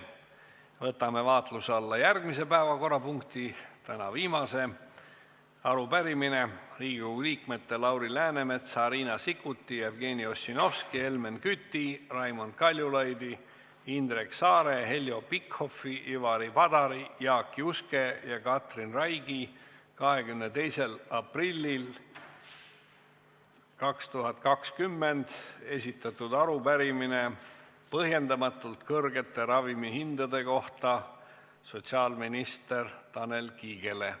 Võtame vaatluse alla järgmise päevakorrapunkti, tänaseks viimase: Riigikogu liikmete Lauri Läänemetsa, Riina Sikkuti, Jevgeni Ossinovski, Helmen Küti, Raimond Kaljulaidi, Indrek Saare, Heljo Pikhofi, Ivari Padari, Jaak Juske ja Katri Raigi 22. aprillil 2020 esitatud arupärimine põhjendamatult kõrgete ravimihindade kohta, mis on esitatud sotsiaalminister Tanel Kiigele.